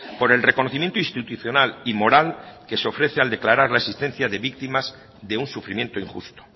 por el reconocimiento institucional y moral que se ofrece al declarar la existencia de víctimas de un sufrimiento injusto